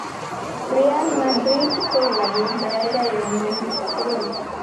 "Real Madrid ko kilabut nekaikai eng ngwony tugul..